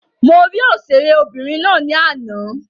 Mo rí òṣèré obìnrin ná ní àná.